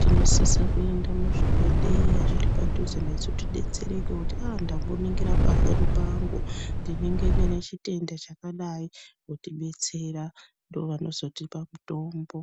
Tinosisa kuenda muzvibhedhleya zviri padhuze nesu tidetsereke, kuti aah ndamboningira pafoni pangu, ndinenge ndine chitenda chakadai, otidetsera. Ndovanozotipa mutombo.